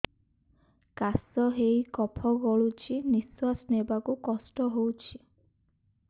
କାଶ ହେଇ କଫ ଗଳୁଛି ନିଶ୍ୱାସ ନେବାକୁ କଷ୍ଟ ହଉଛି